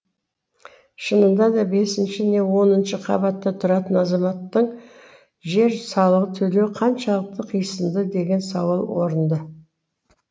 шынында да бесінші не оныншы қабатта тұратын азаматтың жер салығын төлеуі қаншалықты қисынды деген сауал орынды